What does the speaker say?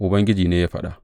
Ubangiji ne ya faɗa haka.